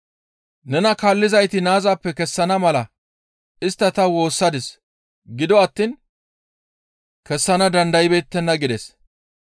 Nena kaallizayti naazappe kessana mala istta ta woossadis; gido attiin kessana dandaybeettenna» gides.